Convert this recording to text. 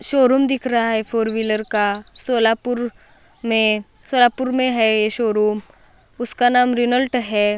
Showroom दिख रहा है फोर व्हीलर का सोलापूर में सोलापूर में है शोरूम उसका नाम रेनॉल्ट है।